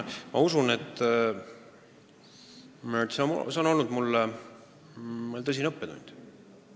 Ma usun, et see juhtum on olnud mulle tõsine õppetund.